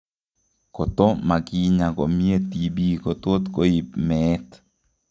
Koto makinyaa komyee TB kotot koib meet